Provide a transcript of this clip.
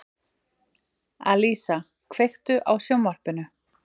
Alísa, kveiktu á sjónvarpinu.